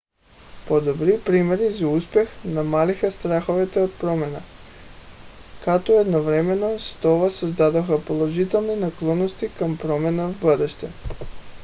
подобни примери за успех намалиха страховете от промяна като едновременно с това създадоха положителни наклонности към промяна в бъдеще